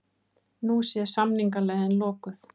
Nú sé samningaleiðin lokuð